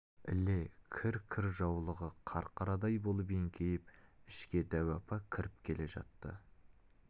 іле кір-кір жаулығы қарқарадай болып еңкейіп ішке дәу апа кіріп келе жатты